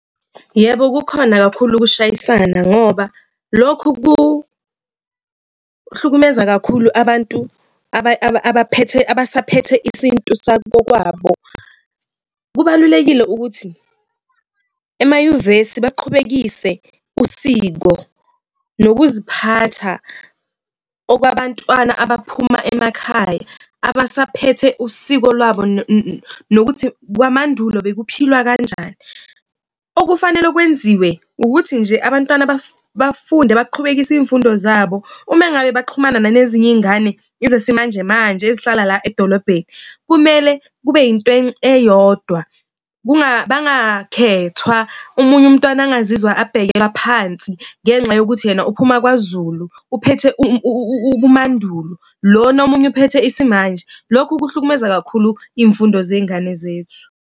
Yebo, kukhona kakhulu ukushayisana ngoba lokhu kuhlukumeza kakhulu abantu abaphethe abasaphethe isintu sabo kwabo. Kubalulekile ukuthi emanyuvesi baqhubekise usiko nokuziphatha okwabantwana abaphuma emakhaya abasaphethe usiko lwabo nokuthi kwamandulo bekuphilwa kanjani. Okufanele okwenziwe ukuthi nje abantwana bafunde baqhubekise iy'mfundo zabo. Ume ngabe baxhumana nale zinye iy'ngane ezesimanjemanje ezihlala la edolobheni kumele kube into eyodwa. Bangakhethwa omunye umntwana engazizwa abhekeka phansi ngenxa yokuthi yena uphuma kwaZulu uphethe ubumandulo lona omunye uphethe isimanje. Lokhu kuhlukumeza kakhulu imfundo zengane zethu.